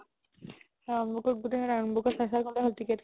round book গুতেই round book ত চাই চাই গ'লে হ'ল ticket